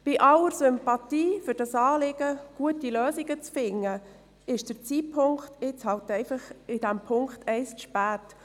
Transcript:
Bei aller Sympathie für dieses Anliegen, gute Lösungen zu finden, ist der Zeitpunkt für die Ziffer 1 nun einfach zu spät.